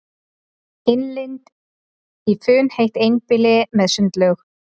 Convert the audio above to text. Innlit í funheitt einbýli með sundlaug